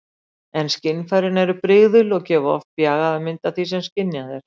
En skynfærin eru brigðul og gefa oft bjagaða mynd af því sem skynjað er.